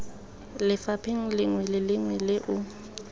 lefapheng lengwe le lengwe o